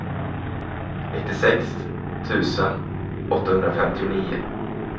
nittiosex tusen åttahundrafemtionio